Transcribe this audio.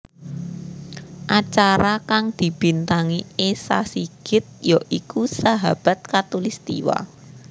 Acara kang dibintangi Esa Sigit ya iku Sahabat Khatulistiwa